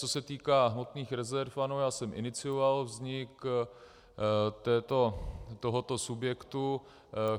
Co se týká hmotných rezerv, ano, já jsem inicioval vznik tohoto subjektu.